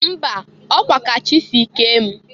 Mba! Ọ kwa ka Chị si kee m.